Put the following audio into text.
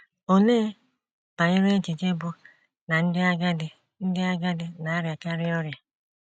Olee banyere echiche bụ́ na ndị agadi na ndị agadi na - arịakarị ọrịa?